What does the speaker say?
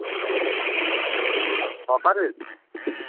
ছকারের